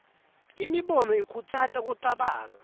imibono ikhutsata kucabanga